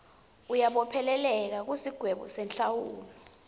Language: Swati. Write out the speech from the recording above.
uyabopheleleka kusigwebo senhlawulo